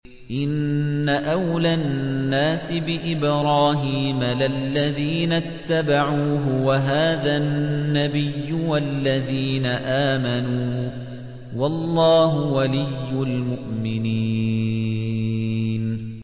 إِنَّ أَوْلَى النَّاسِ بِإِبْرَاهِيمَ لَلَّذِينَ اتَّبَعُوهُ وَهَٰذَا النَّبِيُّ وَالَّذِينَ آمَنُوا ۗ وَاللَّهُ وَلِيُّ الْمُؤْمِنِينَ